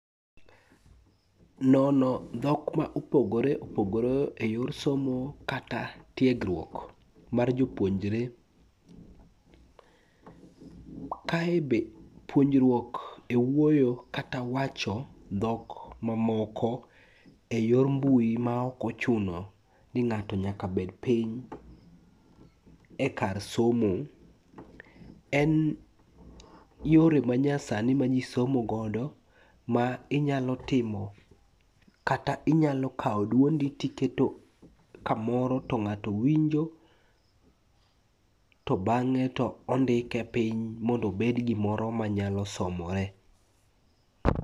Nono dhokma ma opogore opogore e yor somo kata tiegruok mar jopuonjre. Kae be puonjruok e wuoyo kata wacho dhok mamoko e yor mbui maok ochuno ni ng'ato nyaka bed piny e kar somo. En yore manyasani ma ji somogodo ma inyalo timo kata inyalo kawo duondi tiketo kamoro to ng'ato winjo to bang'e to ondike piny mondo obed gimoro manyalo somore.